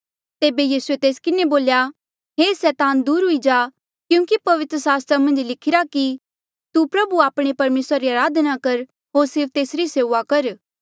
तेबे यीसूए तेस किन्हें बोल्या हे सैतान दूर हुई जा क्यूंकि पवित्र सास्त्र मन्झ लिखिरा कि तू प्रभु आपणे परमेसरा री अराधना कर होर सिर्फ तेसरी सेऊआ कर